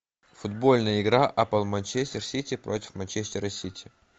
футбольная игра апл манчестер сити против манчестера сити